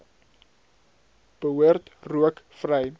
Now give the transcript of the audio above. behoort rook vry